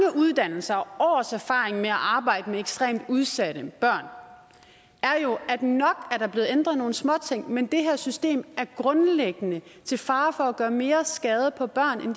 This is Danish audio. uddannelser og års erfaring med at arbejde med ekstremt udsatte børn er jo at nok er der blevet ændret nogle småting men det her system er grundlæggende til fare for at gøre mere skade på børn end